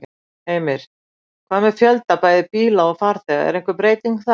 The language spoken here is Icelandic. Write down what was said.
Heimir: Hvað með fjölda bæði bíla og farþega, er einhver breyting þar?